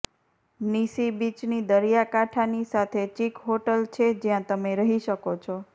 Nissi બીચની દરિયાકાંઠાની સાથે ચિક હોટલ છે જ્યાં તમે રહી શકો છો